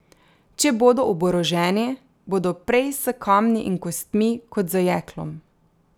Če bodo oboroženi, bodo prej s kamni in kostmi kot z jeklom.